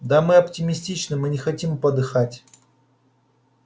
да мы оптимистичны мы не хотим подыхать